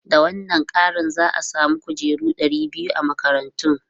Da wannan kari, za a samu kujeru ɗari biyu a makarantun.